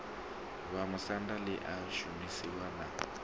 vhamusanda ḽi a shumisiwa na